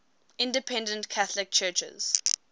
independent catholic churches